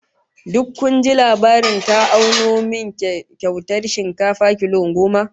Duk kun ji labarin ta auno min kyautar shinkafa kilo goma?